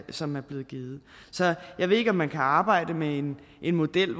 som er blevet givet så jeg ved ikke om man kan arbejde med en model